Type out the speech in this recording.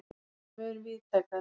er mun víðtækari.